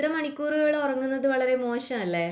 ഇത്ര മണിക്കൂറുകൾ ഉറങ്ങുന്നത് വളരെ മോശമല്ലേ